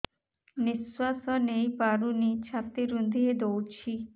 ନିଶ୍ୱାସ ନେଇପାରୁନି ଛାତି ରୁନ୍ଧି ଦଉଛି